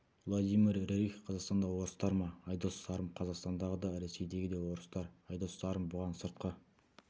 владимир рерих қазақстандағы орыстар ма айдос сарым қазақстандағы да рсейдегі де орыстар айдос сарым бұған сыртқы